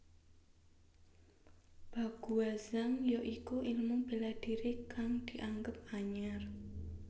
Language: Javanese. Baguazhang ya iku ilmu bela diri kang dianggep anyar